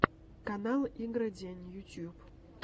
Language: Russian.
канал игро день ютюб